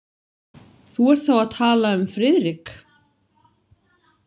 Þú ert þá að tala um Friðrik?